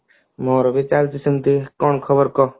ନା ରେ ଚାଲିଛି ସେମତି କଣ ଖବର କହ